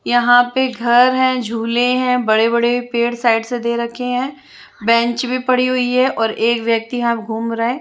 यहाँ पे घर हें झूले हें बड़े बड़े पेड़ साइड से दे रखे हें बेंच भी पड़ी हुई हें और एक व्यक्ति यहा घूम रहा हे।